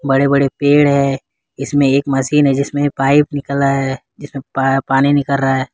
बड़े बड़े पेड़ हैं इसमें एक मशीन जिसमें पाइप निकला है जिसमें प पानी निकल रहा है।